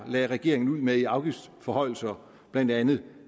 lagde regeringen ud med i afgiftsforhøjelser blandt andet